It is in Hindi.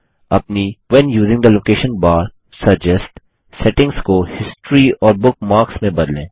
अपनी when using the location bar suggest settings को हिस्टोरी और बुकमार्क्स में बदलें